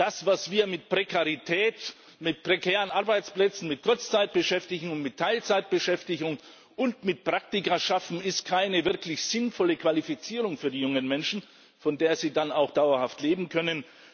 Das, was wir mit Prekarität, mit prekären Arbeitsplätzen, mit Kurzzeitbeschäftigung, mit Teilzeitbeschäftigung und mit Praktika schaffen, ist keine wirklich sinnvolle Qualifizierung für die jungen Menschen, von der sie dann auch dauerhaft leben können.